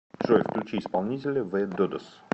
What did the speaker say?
джой включи исполнителя зе додос